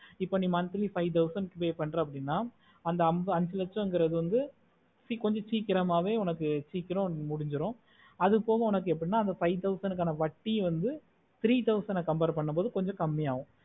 இப்போ நீ monthly five thousand pay பண்றே அப்புடின்னா அந்த அஞ்சிலச்சகிறது வந்து கொஞ்ச சிக்கிறோமாவே உனக்கு சுக்ரோ முடிஞ்சிரும் அது போகோ உனக்கு five thousand காண வட்டி வந்து three thousand ஆஹ் compare பண்ண மோடு கொஞ்ச கம்மி ஆகும்